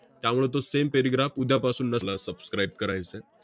त्यामुळं तो same paragraph उद्यापासून नस~ subscribe करायचं आहे.